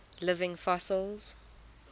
living fossils